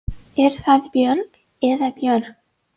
Er það Björg eða Björg?